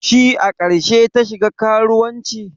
Shi a karshe ta shiga karuwancin?